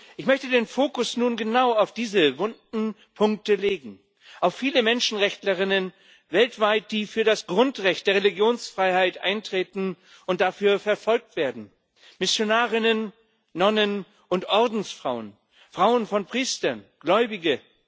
Ich möchte den Fokus nun genau auf diese wunden Punkte legen, auf viele Menschenrechtlerinnen weltweit, die für das Grundrecht der Religionsfreiheit eintreten und dafür verfolgt werden Missionarinnen, Nonnen und Ordensfrauen, Frauen von Priestern, Gläubige.